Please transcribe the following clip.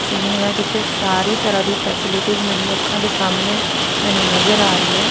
Scene ਆ ਜਿੱਥੇ ਸਾਰੀ ਤਰਾਂ ਦੀ ਫੈਸਿਲਿਟੀਜ਼ ਮੇਰੀ ਅੱਖਾਂ ਦੇ ਸਾਹਮਣੇ ਮੈਨੂੰ ਨਜ਼ਰ ਆ ਰਹੀ ਹੈ।